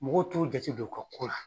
Mɔgɔw t'o jate don o ka ko la.